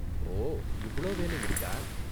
ஓ, இவ்ளோ வேலை இருக்கா?